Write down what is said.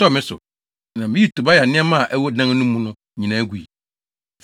ɛtɔɔ me so, na miyii Tobia nneɛma a ɛwɔ dan no mu no nyinaa gui.